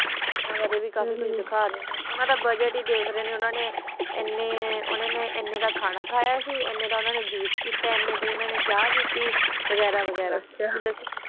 ਅਨਾ ਬਾਰਾ ਵੀ ਕਾਫੀ ਕੁਛ ਸਾਖਾ ਦਿਤਾ ਆ ਓਨਾ ਦਾ ਬਜਾਤ ਹੀ ਦਾਖ ਰਹਾ ਨਾ ਓਨਾ ਦਾ ਅਨਾ ਦਾ ਖਾਨਾ ਖਯਾ ਸੀ ਅਨਾ ਦਾ ਓਨਾ ਜੁੱਸ ਪਿਤਾ ਸੀ ਅਨਾ ਦੀ ਅਨਾ ਚ ਪੀਤੀ ਕੀ ਵਗੈਰਾ ਵਗੈਰਾ